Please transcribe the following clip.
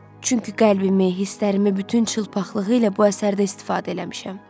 Çünki qəlbimi, hisslərimi bütün çılpaqlığı ilə bu əsərdə istifadə eləmişəm.